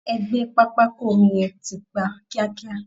E gbé pápákọ omi yẹn tìpa kíákíá!